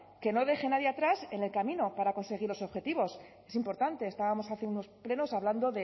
que no deje a nadie atrás en el camino para conseguir los objetivos es importante estábamos hace unos plenos hablando